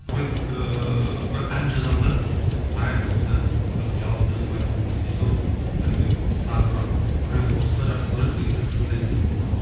дуэт ыыы бір ән жазамын да қараймын осы ән что то жалғыз өзім айтсам не то содан кейін тағы бір біреуді қосса жақсы болар еді деген сияқты сондай іздеймін көбіне